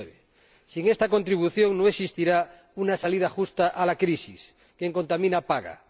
2009. Sin esta contribución no existirá una salida justa a la crisis quien contamina, paga.